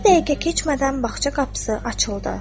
Bir dəqiqə keçmədən bağça qapısı açıldı.